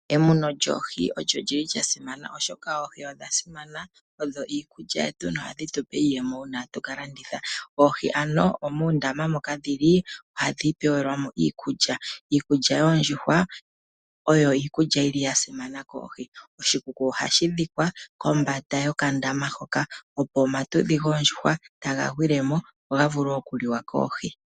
Emuno lyoohi olyo lyili lwasimana oshoka oohi odhasimana, odho iikulya yetu nohadhi tupe iiyemo uuna tatu ka landitha. Oohi ano muundama moka dhili ohadhi pelwamo iikulya . Iikulya yoondjuhwa oyo iikulya yili yasimana koohi . Oshikuku ohashi dhikwa kombanda yokandama hoka opo iiyekelwahi yoondjuhwa etayi gwilemo opo yivule okuliwa koohi.